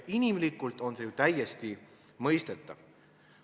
Inimlikult on see ju täiesti mõistetav.